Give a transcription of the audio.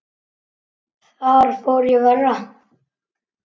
Þar fór í verra.